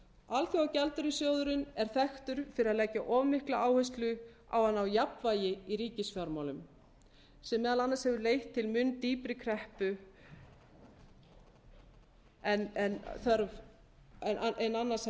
alþjóðagjaldeyrissjóðurinn er þekktur fyrir að leggja of mikla áherslu á að ná jafnvægi í ríkisfjármálum sem meðal annars hefur leitt til mun dýpri kreppu en annars